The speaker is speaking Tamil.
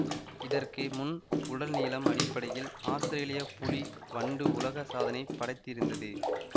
இதற்கு முன் உடல் நீளம் அடிப்படையில் ஆஸ்திரேலியப் புலி வண்டு உலக சாதனை படைத்திருந்தது